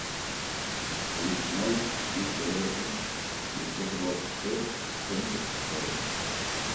плюс ноль триста восемь девятьсот двадцать шесть семьдесят сорок